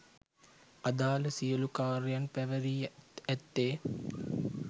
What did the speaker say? අදාළ සියලු කාර්යයන් පැවැරී ඇත්තේ